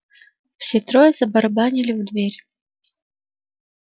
все трое забарабанили в дверь